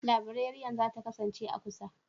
Librariyan za ta kasance a kusa?